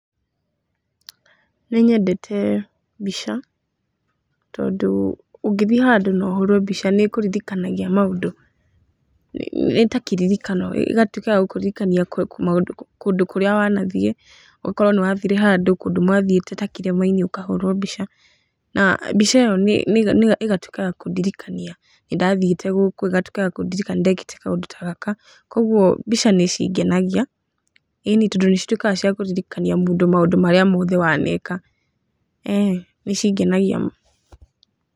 Nĩ nyendete mbica tondũ ũngĩthiĩ handũ na ũhũrwo mbica nĩ ĩkũririkanagia maũndũ, nĩ ta kĩririkano, ĩgatuĩka ya gũkũririkania kũndũ kũrĩa wanathiĩ, ũkorwo nĩ wathiĩte handũ kũndũ mwanathiĩte ta kĩrĩma-inĩ ũkahũrwo mbica na mbica ĩyo ĩgatuĩka ya kũndirikania nĩ ndathiĩte gũkũ, ĩgatuĩka ya kũndirikania nĩ ndekĩte kaũndũ ta gaka. Kwoguo mbica nĩ cingenagia ĩni tondũ nĩ cituĩkaga cia kũririkania mũndũ maũndũ marĩa mothe waneka. Ee nĩ cingenagia.